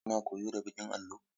Kuna koyo da baƙin allo?